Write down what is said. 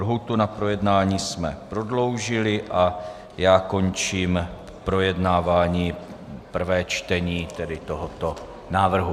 Lhůtu na projednání jsme prodloužili a já končím projednávání prvé čtení tedy tohoto návrhu.